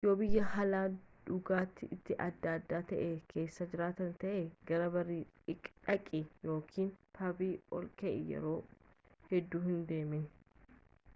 yoo biyyaa haali dhugaatii itti adda addaa ta'ee keessa jiraata ta'e gara barii dhaqi yookiin pabi ollakee yeroo hedduu hin deemne